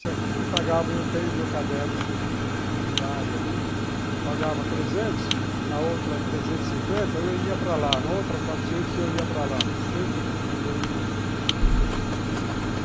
Se aqui me pagava, eu tenho meu caderno que eu fiz um pequeno diário ali, pagava trezentos, na outra trezentos e cinquenta eu ia para lá, na outra quatrocentos eu ia para lá, sempre procurando subir de vida.